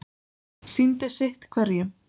Sýndist sitt hverjum.